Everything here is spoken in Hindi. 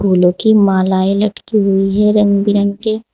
फूलों की मालाएं लटकी हुई है रंग बिरंग के--